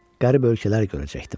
Qərib ölkələr görəcəkdim.